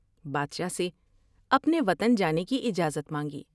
بادشاہ سے اپنے وطن جانے کی اجازت مانگی ۔